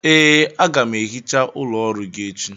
Ee, a ga m ehicha ụlọ ọrụ gị echi